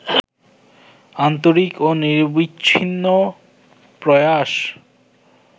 আন্তরিক ও নিরবচ্ছিন্ন প্রয়াস